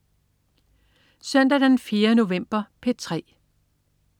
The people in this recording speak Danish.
Søndag den 4. november - P3: